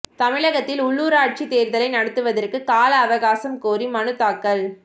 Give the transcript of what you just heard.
தமிழகத்தில் உள்ளூராட்சித் தேர்தலை நடத்துவதற்கு கால அவகாசம் கோரி மனுத் தாக்கல்